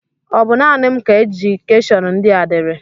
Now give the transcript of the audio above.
Ọ bụ naanị m ka ejekishon ndị a diri?